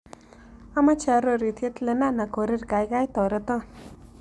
Amoche arorutiet lenana korir gaigai toreton